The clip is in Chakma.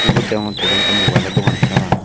ibot degongotte iben ekkan mobile o dogan parapang.